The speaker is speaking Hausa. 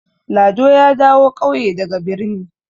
Lado ya dawo ƙauye daga birni.